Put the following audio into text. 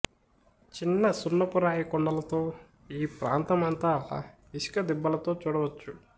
చిన్న సున్నపురాయి కొండలతో ఈ ప్రాంతమంతా ఇసుక దిబ్బలతో చూడవచ్చు